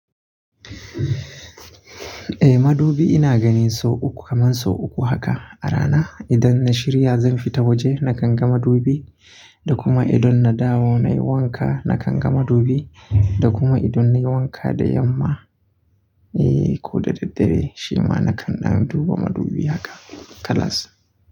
Eh madubi ina gani sau uku kaman sau uku haka a rana. Idan na shirya zan fita waje na kanga madubi, da kuma idan na dawo nayi wanka na kanga madubi, da kuma idan nayi wanka da yamma eh ko da daddare shima na kan ɗan duba madubi haka kalas.